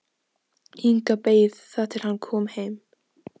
Inga beið þar til hann kom heim.